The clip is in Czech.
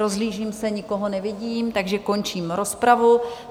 Rozhlížím se, nikoho nevidím, takže končím rozpravu.